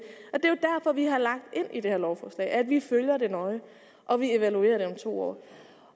er vi har lagt ind i det her lovforslag at vi følger det nøje og evaluerer det om to år